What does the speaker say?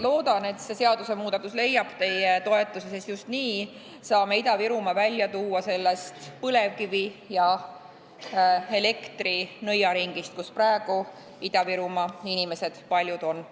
Loodan, et see seadusmuudatus leiab teie toetuse, sest just nii saame Ida-Virumaa välja tuua sellest põlevkivi ja elektri nõiaringist, kus praegu paljud Ida-Virumaa inimesed on.